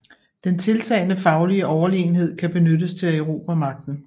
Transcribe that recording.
Den tiltagende faglige Overlegenhed kan benyttes til at erobre Magten